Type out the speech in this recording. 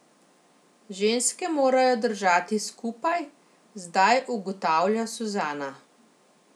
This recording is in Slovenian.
Ženske morajo držati skupaj, zdaj ugotavlja Suzana.